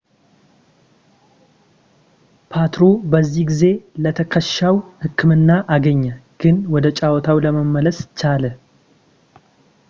ፖትሮ በዚህ ጊዜ ለትከሻው ሕክምና አገኘ ግን ወደ ጨዋታው ለመመለስ ቻለ